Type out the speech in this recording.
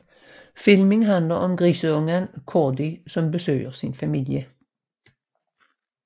Filmen handler om grisungen Gordy som søger sin familie